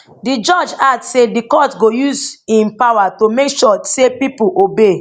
di judge add say di court go use im power to make sure say pipo obey